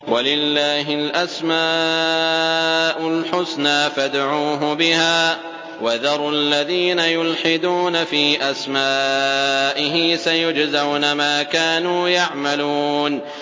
وَلِلَّهِ الْأَسْمَاءُ الْحُسْنَىٰ فَادْعُوهُ بِهَا ۖ وَذَرُوا الَّذِينَ يُلْحِدُونَ فِي أَسْمَائِهِ ۚ سَيُجْزَوْنَ مَا كَانُوا يَعْمَلُونَ